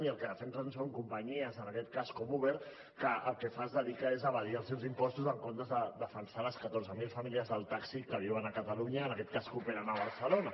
i el que defensen són companyies en aquest cas com uber que el que fa és dedicar se a evadir els seus impostos en comptes de defensar les catorze mil famílies del taxi que viuen a catalunya en aquest cas que operen a barcelona